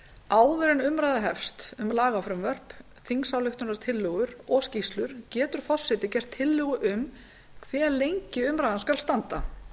áður en umræða hefst um lagafrumvörp þingsályktunartillögur og skýrslur getur forseti gert tillögu um hve lengi umræðan skuli standa